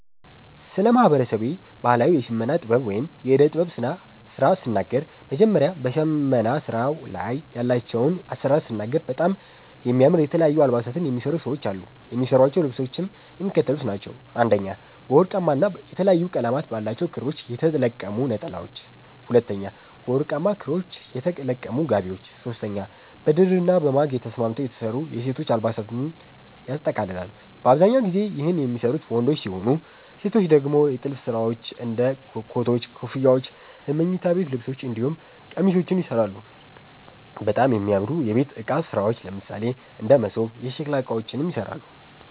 ስለ ማህበረሰቤ ባህላዊ የሽመና ጥበብ ወይም የእደ ጥበብ ስራ ስናገር መጀመሪያ በሸመና ስራዉ ላይ ያላቸዉን አሰራር ስናገር በጣም የሚያምር የተለያዩ አልባሳትን የሚሰሩ ሰዎች አሉ። የሚሰሯቸዉ ልብሶችም የሚከተሉት ናቸዉ፦ 1) በወርቃማ ና የተለያየ ቀለም ባላቸዉ ክሮች የተለቀሙ ነጠላዎች፤ 2)በወርቃማ ክሮች የተለቀሙ ጋቢዎች፤ 3)በድርና በማግ ተስማምተዉ የተሰሩ የሴቶች አልባሳትን ያጠቃልላል። በአብዛኛው ጊዜ ይህን የሚሰሩት ወንዶች ሲሆኑ ሴቶች ደግሞ የጥልፍ ስራዎች እንደ ኮቶች, ኮፍያዎች የመኝታ ቤት ልብሶች እንዲሁም ቄሚሶችንም ይሰራሉ፣ በጣም የሚያምሩ የቤት እቃ ስራዎች ለምሳሌ እንደ መሶብ፣ የሸከላ እቃዎችንም ይሰራሉ።